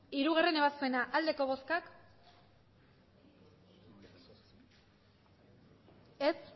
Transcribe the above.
hirugarrena ebazpena aldeko botoak aurkako